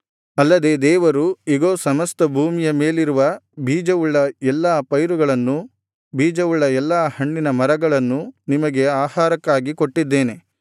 ಅಲ್ಲದೆ ದೇವರು ಇಗೋ ಸಮಸ್ತ ಭೂಮಿಯ ಮೇಲಿರುವ ಬೀಜವುಳ್ಳ ಎಲ್ಲಾ ಪೈರುಗಳನ್ನೂ ಬೀಜವುಳ್ಳ ಎಲ್ಲಾ ಹಣ್ಣಿನ ಮರಗಳನ್ನೂ ನಿಮಗೆ ಆಹಾರಕ್ಕಾಗಿ ಕೊಟ್ಟಿದ್ದೇನೆ